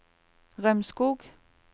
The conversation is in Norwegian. Rømskog